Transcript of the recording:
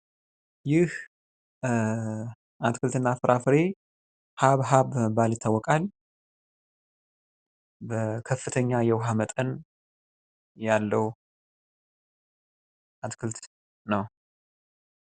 ይህ አትክልት እና ፍፍራፍሬ ሀብሀብ በመባል ይታወቃል። ከፍተኛ የውሀ መጠን ያለው አትክልት ነው።